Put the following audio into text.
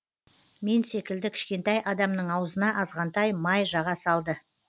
мен секілді кішкентай адамның аузына азғантай май жаға салды